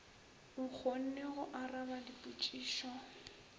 o kgone go araba dipotšišo